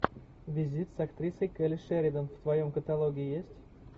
визит с актрисой келли шеридан в твоем каталоге есть